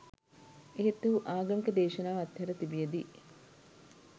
එහෙත් ඔහු ආගමික දේශනාව අත්හැර තිබියදී